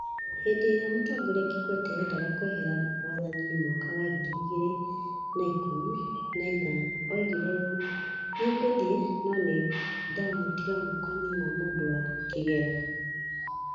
Hĩndĩ ĩrĩa Mũtongoria Kikwete eendaga kwehera wathaniinĩ mwaka wa ngiri igĩrĩ na ikũmi na ithano, oigire ũũ: "Nĩ ngũthiĩ, no nĩ ndamũtiga moko-inĩ ma mũndũ wa kĩgera".